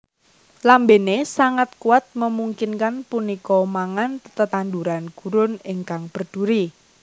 Lambene sangat kuat memungkinkan punika mangan tetanduran gurun ingkang berduri